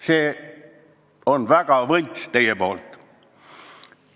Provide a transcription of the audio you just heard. See on väga võlts!